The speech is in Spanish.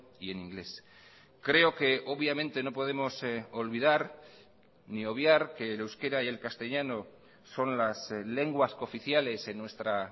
y en inglés creo que obviamente no podemos olvidar ni obviar que el euskera y el castellano son las lenguas cooficiales en nuestra